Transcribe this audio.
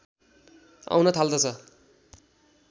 आउन थाल्दछ